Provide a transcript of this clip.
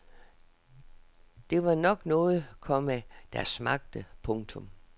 Det var nok noget, komma der smagte. punktum